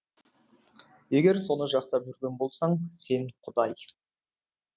егер соны жақтап жүрген болсаң сен құдай